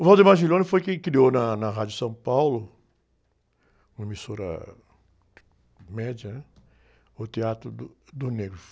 O foi quem criou na, na Rádio São Paulo, uma emissora média, ãh? O Teatro do, do Negro.